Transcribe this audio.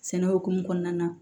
Sɛnɛ hukumu kɔnɔna na